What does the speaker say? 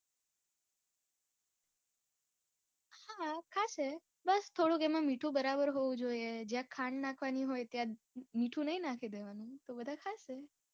હા ખાશે બસ થોડુક એમાં મીઠું બરાબર હોવું જોઈએ જ્યાં ખાંડ નાખવાની હોય ત્યાં મીઠું નય નાખી દેવાનું તો બધા ખાશે.